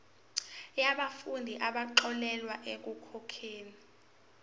yabafundi abaxolelwa ekukhokheni